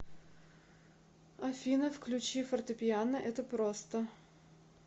афина включи фортепиано это просто